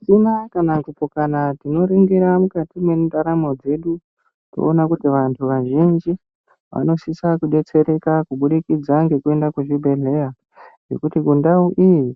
Michina kana kuti dzinoningira mukati mwendaramo dzedu, tinoona kuti vantu vazhinji, vanosisa kudetsereka kubudikidza ngekuenda kuzvibhedhleya, ngekuti kundau iyi,